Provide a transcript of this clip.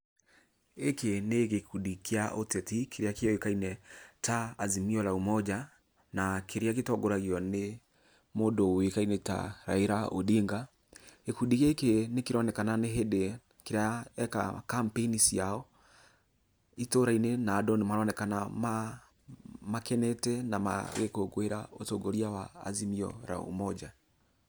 Gĩkĩ nĩ gĩkũndi kĩa ũtetĩ kĩrĩa kĩuĩkane ta Azimio la Umoja, na kĩrĩa gĩtongoragĩo nĩ mũndu uĩkaĩne ta Raila Ondinga .Gĩkũndi nĩ kĩronekana nĩ hĩndi kĩreka campaign cĩao, itũũra-inĩ na andu nĩ maronekana makenete na magĩkongoĩraũtongorĩa wa Azimio la Umoja.